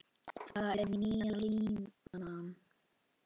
Það er nýja línan.